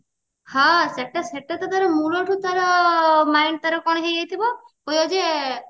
ହଁ ସେଟା ସେଟା ତାର ମୂଳ ଠୁ ତାର mind ତାର କଣ ହେଇଯାଇଥିବ କହିବ ଯେ